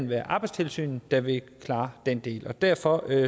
være arbejdstilsynet der klarer den del derfor